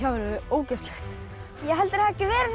verið ógeðslegt ég held þeir hafi